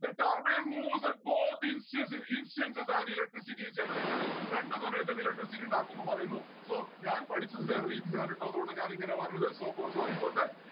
the turbine moves at both instance instance of an electricity is generated രണ്ടു സമയത്തും electricity ഇണ്ടാക്കുന്നു പറയുന്നു. so ഞാൻ പഠിച്ചത് വേറെ രീതിയിലാണ് ട്ടോ അതോണ്ടാണ് ഞാൻ ഇങ്ങനെ പറഞ്ഞത്. so for sorry for that